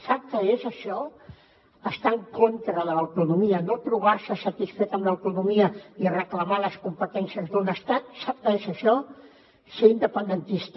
sap què és això estar en contra de l’autonomia no trobar se satisfet amb l’autonomia i reclamar les competències d’un estat sap què és això ser independentista